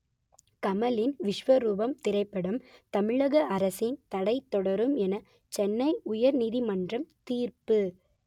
கமலின் விஸ்வரூபம் திரைப்படம் தமிழக அரசின் தடை தொடரும் என சென்னை உயர் நீதிமன்றம் தீர்ப்பு